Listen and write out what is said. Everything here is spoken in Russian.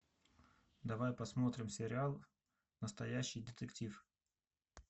давай посмотрим сериал настоящий детектив